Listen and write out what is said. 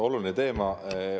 Oluline teema.